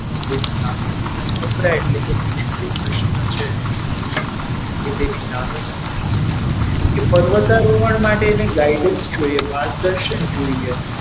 કપરા એટલે કે મુશ્કેલ પ્રશ્નો છે તે તેની સામે હતા કે પર્વતારોહણ માટે એને guidance જોઈએ માર્ગદર્શન જોઈએ.